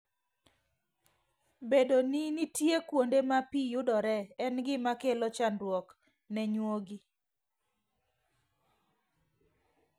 Bedo ni nitie kuonde ma pi yudoree, en gima kelo chandruok ne nyuogi.